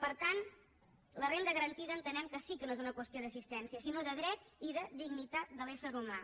per tant la renda garantida entenem que sí que no és una qüestió d’assistència sinó de dret i de dignitat de l’ésser humà